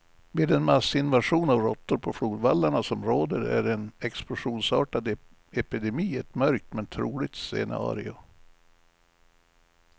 Med den massinvasion av råttor på flodvallarna som råder är en explosionsartad epidemi ett mörkt, men troligt scenario.